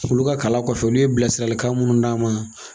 Olu ka kala kɔfɛ olu ye bilasiralikan munnu d'an ma